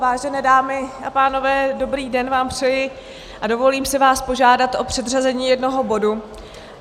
Vážené dámy a pánové, dobrý den vám přeji a dovolím si vás požádat o předřazení jednoho bodu.